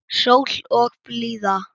Sól og blíða.